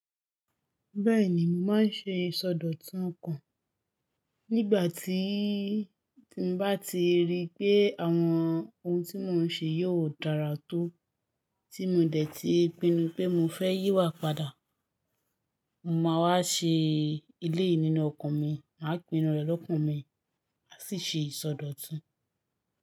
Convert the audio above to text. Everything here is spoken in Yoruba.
Bẹ́ẹ̀ni, mo máa ń ṣe ìsọdọ̀tun ọkàn. Nígbà tí mo bá ti rí pé àwọn ohun tí mò ń ṣe yóò dára tó, tí mo dẹ̀ ti pinnu pé mo fẹ́ yí wá padà, mo máa wá ṣe eleyii nínú ọkàn mi, màá pinnu rẹ̀ lọ́kàn mi, maa sì ṣe ìsọdọ̀tun.